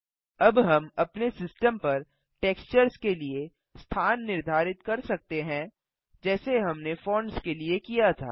अब हम अपने सिस्टम पर टेक्सचर्स के लिए स्थान निर्धारित कर सकते हैं जैसे हमने फोंट्स के लिए किया था